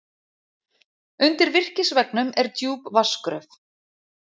Undir virkisveggnum er djúp vatnsgröf.